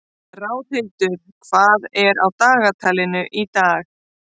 Ráðhildur, hvað er á dagatalinu í dag?